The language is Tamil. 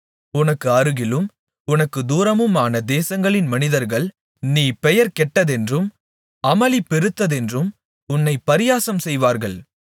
உனக்கு அருகிலும் உனக்குத் தூரமுமான தேசங்களின் மனிதர்கள் நீ பெயர்கெட்டதென்றும் அமளி பெருத்ததென்றும் உன்னைப் பரியாசம்செய்வார்கள்